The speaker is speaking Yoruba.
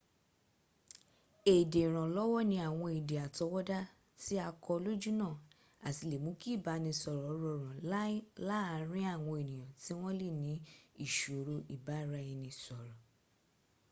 èdè ìrànlọ́wọ́ ní àwọn èdè àtọwọ́dá tí a kọ́ lójúnnà àti lè mún kí ìbánisọ̀rọ̀ rọrùn laàrin àwọn ènìyàn tí wọ́n lè ní ìṣòro ìbáraẹnisọ̀rọ̀